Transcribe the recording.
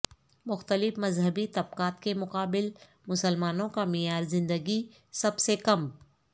مختلف مذہبی طبقات کے مقابل مسلمانوں کا معیار زندگی سب سے کم